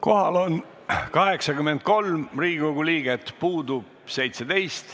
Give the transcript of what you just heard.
Kohaloleku kontroll Kohal on 83 Riigikogu liiget, puudub 17.